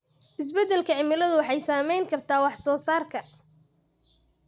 Isbeddelka cimiladu waxay saameyn kartaa wax soo saarka.